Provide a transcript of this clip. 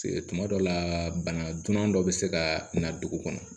Tuma dɔw la bana dunan dɔ bɛ se ka na dugu kɔnɔ